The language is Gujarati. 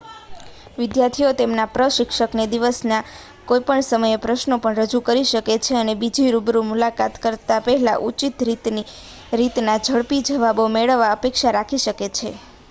વિદ્યાર્થીઓ તેમના પ્રશિક્ષકને દિવસના કોઈપણ સમયે પ્રશ્નો પણ રજૂ કરી શકે છે અને બીજી રૂબરૂ મુલાકાત કરતા પહેલા ઉચિત રીતના ઝડપી જવાબો મેળવવાની અપેક્ષા રાખી શકે છે